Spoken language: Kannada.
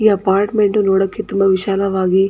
ಈ ಅಪಾರ್ಟ್ಮೆಂಟ್ ನೋಡಕೆ ತುಂಬಾ ವಿಶಾಲವಾಗಿ.